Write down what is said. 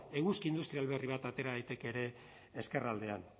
eguzki industrial berri bat atera daiteke ere ezkerraldean